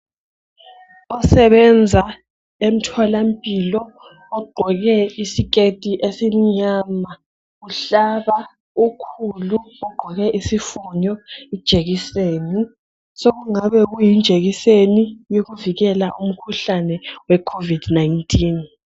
Osebenza emtholampilo ogqoke isiketi esimnyama uhlaba ukhulu ogqoke isifonyo ijekiseni. Sokungaba yijekiseni yokuvikela umkhuhlane we COVID-19.